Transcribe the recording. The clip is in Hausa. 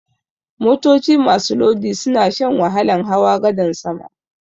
Motoci masu lodi suna shan wahalan hawa gadan sama.